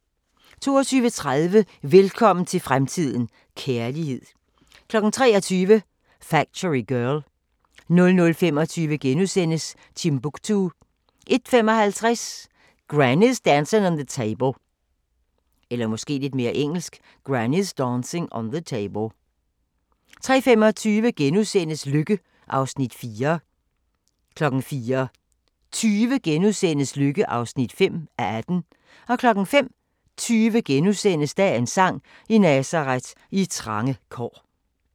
22:30: Velkommen til fremtiden – kærlighed 23:00: Factory Girl 00:25: Timbuktu * 01:55: Granny's Dancing on the Table 03:25: Lykke (4:18)* 04:20: Lykke (5:18)* 05:20: Dagens sang: I Nazaret, i trange kår *